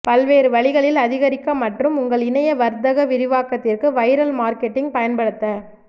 பல்வேறு வழிகளில் அதிகரிக்க மற்றும் உங்கள் இணைய வர்த்தக விரிவாக்கத்திற்கு வைரல் மார்க்கெட்டிங் பயன்படுத்த